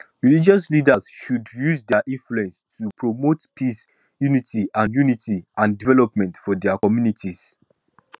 religious leaders should use dia influence to promote peace unity and unity and development for dia communities